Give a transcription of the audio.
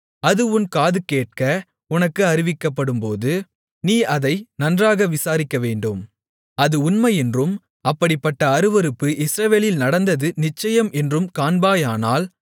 அது உன் காதுகேட்க உனக்கு அறிவிக்கப்படும்போது நீ அதை நன்றாக விசாரிக்கவேண்டும் அது உண்மையென்றும் அப்படிப்பட்ட அருவருப்பு இஸ்ரவேலில் நடந்தது நிச்சயம் என்றும் காண்பாயானால்